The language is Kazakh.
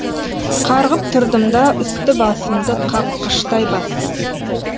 қарғып тұрдым да үсті басымды қаққыштай бастадым